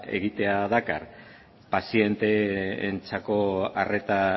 egitea dakar pazienteentzako arreta